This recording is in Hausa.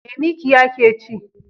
Me mikiya ke ci?